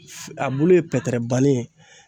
A bulu ye pɛtɛrɛ banni ye.